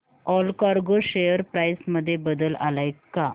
Allcargo share price मध्ये बदल आलाय का